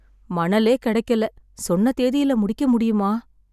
மணலே கிடைக்கல. சொன்ன தேதியில முடிக்க முடியுமா?